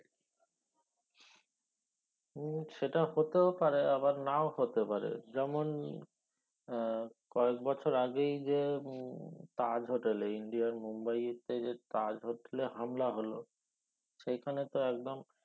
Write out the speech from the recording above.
উম সেটা হতেও পারে আবার নাও হতে পারে যেমন আহ কয়েক বছর আগেই যে উম তাজ হোটেল এ ইন্ডিয়ার মুম্বাইতে তাজ হোটেলে হামলা হল সেখানে তো একদম